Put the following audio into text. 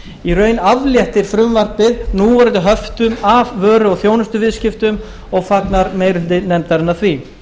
í raun afléttir frumvarpið núverandi höftum af vöru og þjónustuviðskiptum og fagnar meiri hluti nefndarinnar því